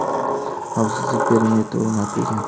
Xavfsizlik perimetri o‘rnatilgan.